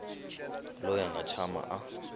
loyi a nga tshama a